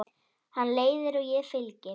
Hann leiðir og ég fylgi.